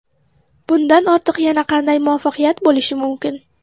Bundan ortiq yana qanday muvaffaqiyat bo‘lishi mumkin.